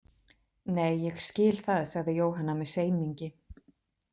Nei, ég skil það, sagði Jóhanna með semingi.